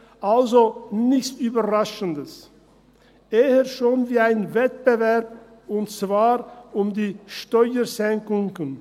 Also: nichts Überraschendes, eher schon wie ein Wettbewerb, und zwar um die Steuersenkungen.